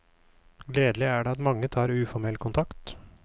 Gledelig er det at mange tar uformell kontakt.